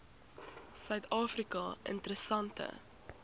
suid afrika interessante